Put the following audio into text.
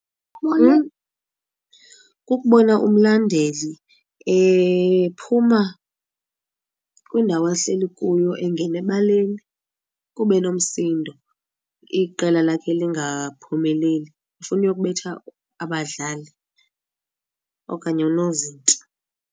Kukubona umlandeli ephuma kwindawo ahleli kuyo engena ebaleni kuba enomsindo iqela lakhe lingaphumeleli efuna uyokubetha abadlali okanye unozinti.